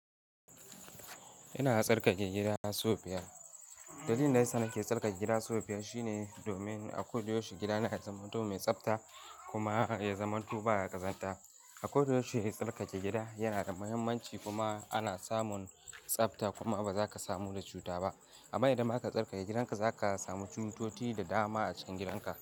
Ina tsarkake gidans sau biyar. Dalilin da yasa nake tsarkake gida sau biyar shine domin a koyaushe gida na zamanto mai tsafta kuma ya zamanto ba ya ƙazanta. A koyaushe tsarkake gida yana da muhimmanci kuma ana samun tsafta kuma ba za ka samu da cuta ba. Amma idan ba ka tsarkake gidanka za ka samu cututtuka da dama a cikin gidanka.